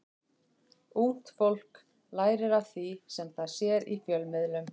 Ungt fólk lærir af því sem það sér í fjölmiðlum.